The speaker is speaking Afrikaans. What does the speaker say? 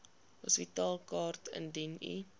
hospitaalkaart indien u